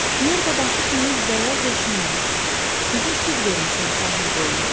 Nerpa başı kimi bəyaz döşündən bizə süd vermisən sahil boyunda.